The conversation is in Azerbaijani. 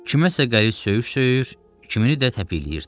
Kiməsə qəliz söyüş söyür, kimini də təpikləyirdi.